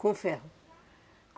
Com o ferro?